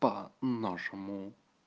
нашему